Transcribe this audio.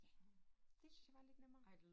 Ja det syntes jeg var lidt nemmere